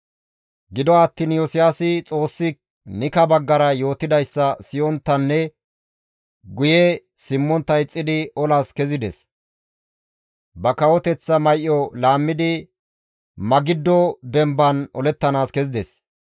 Gido attiin Iyosiyaasi Xoossi Nika baggara izas yootidayssa siyonttanne guye simmontta ixxidi olas kezides; ba kawoteththa may7o laammidi Magiddo demban olettanaas kezides.